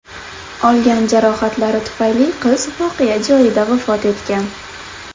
Olgan jarohatlari tufayli qiz voqea joyida vafot etgan.